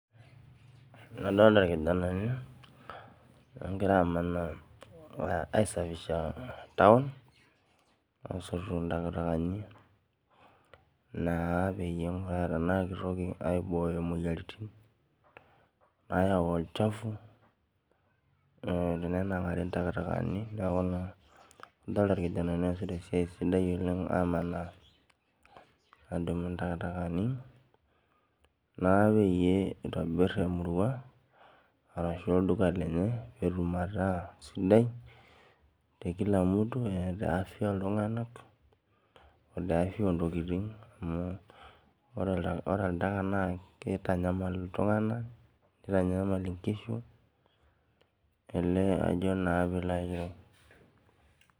Adolita irkijanani ogira amanaa aisafisha taun asoto ntakatakani aingura anaa kitoki aibooyo moyiaritin nayau olchafu tenenangari ntakatakani adolita irkijanani oasita esiai sidai adumu ntakatakani naa peyiebitobir emurua ashu olduka lenye petum ataa sidai tebafya oltunganak na kitanyamal ltunganak nitanyamal nkishu ajo na pilo ayiolou